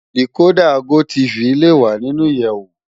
Dikódà gótìfí lé wá ninú iyèwó